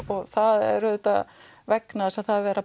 það er auðvitað vegna þess að það er verið